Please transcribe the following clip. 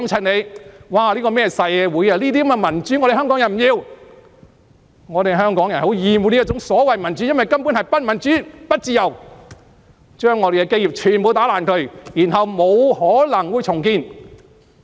我們香港人不要這樣的民主，香港人很厭惡這種所謂民主，因為根本是不民主、不自由，將我們的基業全部破壞，然後不可能再重建。